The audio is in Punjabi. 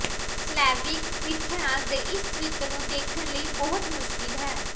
ਸਲੈਵਿਕ ਮਿਥਿਹਾਸ ਦੇ ਇਸ ਚਰਿੱਤਰ ਨੂੰ ਦੇਖਣ ਲਈ ਬਹੁਤ ਮੁਸ਼ਕਿਲ ਹੈ